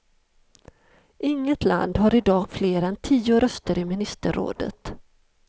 Inget land har i dag fler än tio röster i ministerrådet.